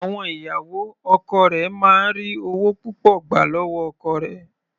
Àwọn ìyàwó ọkọ rẹ̀ máa ń ri ọwọ́ púpọ̀ gbà lọ́wọ́ ọkọ rẹ̀.